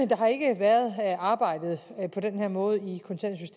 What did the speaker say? der har ikke været arbejdet på den her måde